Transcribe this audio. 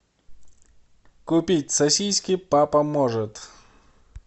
купить сосиски папа может